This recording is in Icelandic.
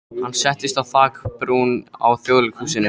Hann settist á þakbrún á Þjóðleikhúsinu.